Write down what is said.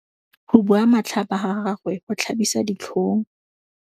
Go bua matlhapa ga gagwe go tlhabisa ditlhong.